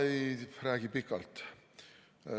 Ma ei räägi pikalt.